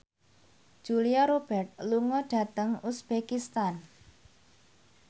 Julia Robert lunga dhateng uzbekistan